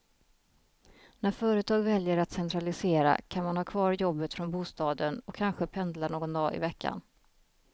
När företag väljer att centralisera kan man ha kvar jobbet från bostaden och kanske pendla någon dag i veckan.